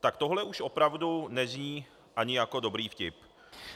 Tak tohle už opravdu není ani jako dobrý vtip.